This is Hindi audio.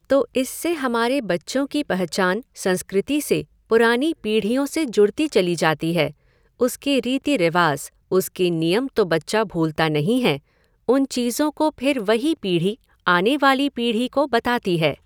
तो इससे हमारे बच्चों की पहचान संस्कृति से, पुरानी पीढ़ियों से जुड़ती चली जाती है, उसके रीति रिवाज़, उसके नियम तो बच्चा भूलता नहीं है, उन चीज़ों को फिर वही पीढ़ी आने वाली पीढ़ी को बताती है।